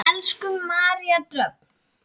Elsku María Dröfn.